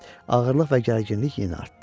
Ağırlıq və gərginlik yenə artdı.